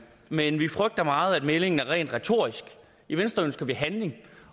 men vi frygter meget at meldingen er rent retorisk i venstre ønsker vi handling